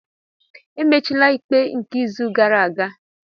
Emechila ikpe nke izu gara aga!